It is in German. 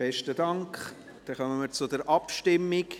Besten Dank, dann kommen wir zur Abstimmung.